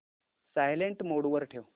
silent mode वर ठेव